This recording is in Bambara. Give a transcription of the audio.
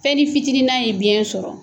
Fɛnnin fitini na ye biyɛn sɔrɔ